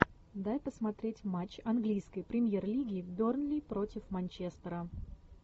дай посмотреть матч английской премьер лиги бернли против манчестера